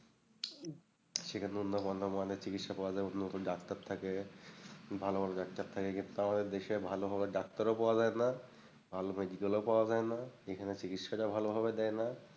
সেখানে উন্নত গণ্য মানের চিকিৎসা পাওয়া যায় উন্নত ডাক্তার থাকে, ভালো ভালো ডাক্তার থাকে, কিন্তু আমাদের দেশে ভালো ভালো ডাক্তারও পাওয়া যায়না, ভালো medical ও পাওয়া যায়না, এখানে চিকিৎসাটাও ভালোভাবে দেয়না।